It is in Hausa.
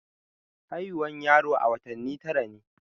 Haihuwan yaro a watanni tara ne.